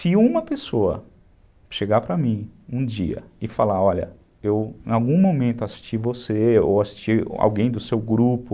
Se uma pessoa chegar para mim um dia e falar, olha, eu em algum momento assisti você ou assisti alguém do seu grupo,